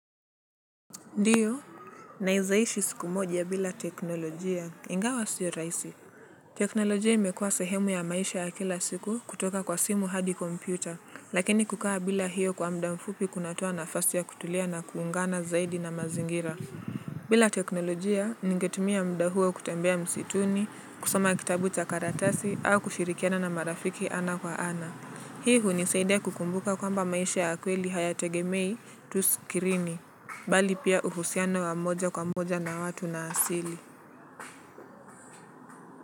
Ndiyo, naizaishi siku moja bila teknolojia, ingawa sio raisi. Teknolojia imekuwa sehemu ya maisha ya kila siku kutoka kwa simu hadi kompyuta, lakini kukawa bila hiyo kwa mda mfupi kunatoa nafasi ya kutulia na kuungana zaidi na mazingira. Bila teknolojia, ningetumia mda huo kutembea msituni, kusoma kitabu cha karatasi, au kushirikiana na marafiki ana kwa ana. Hii hunisaidia kukumbuka kwamba maisha ya kweli haya tegemei tuskirini, bali pia uhusiana wamoja kwa moja na watu na asili.